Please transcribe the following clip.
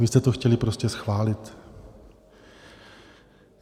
Vy jste to chtěli prostě schválit.